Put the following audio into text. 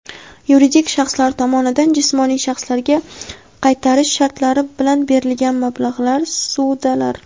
Yuridik shaxslar tomonidan jismoniy shaxslarga qaytarish sharti bilan berilgan mablag‘lari (ssudalar).